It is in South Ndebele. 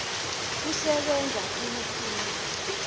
kusebenza khulu khulu